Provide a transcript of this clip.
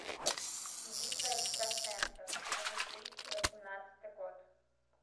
битва экстрасенсов за две тысячи восемнадцатый год